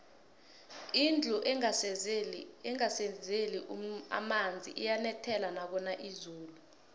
indlu engasezeli emonzi iyanethela nakuna izulu